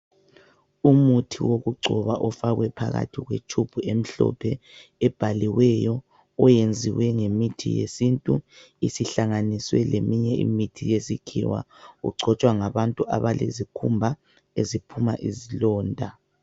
Umuthi wokugcoba ofakwe phakathi kwetube emhlophe ebhaliweyo oyenziwe ngemithi yesintu isihlanganiswe leminye iimithi yesikhiwa ugcotshwa ngabantu abalezikhumba eziphuma izilonda